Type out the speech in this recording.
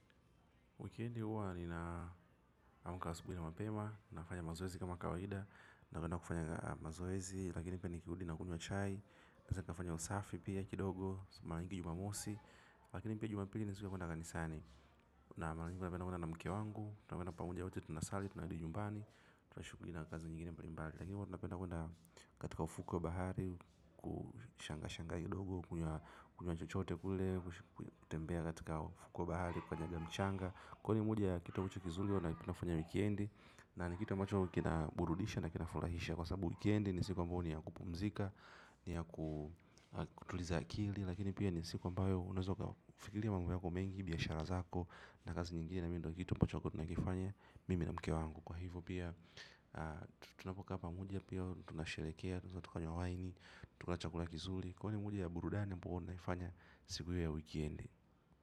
Wikendi huwa ninaamka asubuhi na mapema, nafanya mazoezi kama kawaida, na kwenda kufanya mazoezi, lakini pia nikirudi na kunywa chai naweza kafanya usafi pia kidogo, mara mingi jumamosi, lakini pia jumapili ni siku ya kwenda kanisani, na mara nyingi napenda kwenda na mke wangu, na kwenda pamoja wote tunasali, tunarudi nyumbani, tuna shughuli na kazi nyingine mbalimbali, lakini huwa tunapenda kwenda katika ufukwe wa bahari, kushanga shanga kidogo, kunywa chochote kule. Kutembea katika ufukwe wa bahari. Kukanyaga mchanga. Kwa hivyo moja ya kitu ambacho kizuri huwa tunafanya wikendi. Na ni kitu ambacho kina burudisha na kinafurahisha. Kwa sababu wikendi ni siku ambayo ni ya kupumzika. Ni ya kutuliza akili. Lakini pia ni siku ambayo unaweza ukafikiria mambo yako mengi biashara zako na kazi nyingine na mimi ndio ambacho tutakuwa tunakifanya. Mimi na mke wangu kwa hivo pia tunapokaa pamoja pia tunasherekea, tunaweza tukanywa waini. Tunakula chakula kizuri. Kwani ni moja ya burudani ambayo naifanya. Siku hiyo ya wikendi.